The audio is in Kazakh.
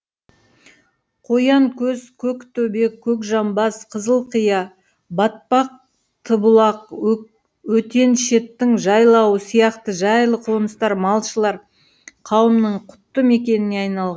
қоянкөз көктөбе көкжамбас қызылқия батпақтыбұлақ өтеншеттің жайлауы сияқты жайлы қоныстар малшылар қауымының құтты мекеніне айнал